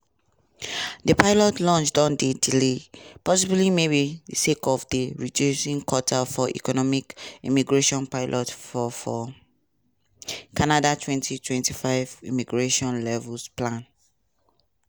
di pilot launch don dey delayed possibly maybe sake of di reduced quota for economic immigration pilots for for canada 2025 immigration levels plan.